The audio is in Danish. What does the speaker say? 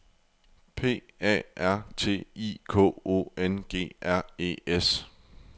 P A R T I K O N G R E S